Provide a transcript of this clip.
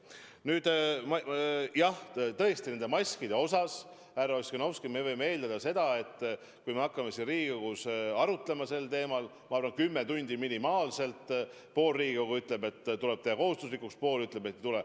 Nüüd jah, tõesti, nende maskide puhul, härra Ossinovski, me võime eeldada seda, et kui me hakkame siin Riigikogus sel teemal arutama, siis ma arvan, et kulub kümme tundi minimaalselt ja pool Riigikogu ütleb, et need tuleb teha kohustuslikuks, ja teine pool ütleb, et ei tule.